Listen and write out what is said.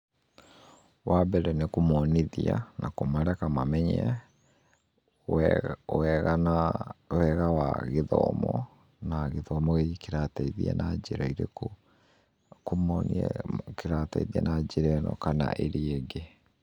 Wa mbere nĩ kũmonithia na kũmareka mamenye wega wa gĩthomo na gĩthomo gĩkĩ kĩrateithia na njĩra ĩrĩkũ, kũmonia kĩrateithia na njĩra ĩno kana ĩrĩa ĩngĩ